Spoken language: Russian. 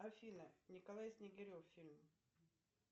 афина николай снегирев фильм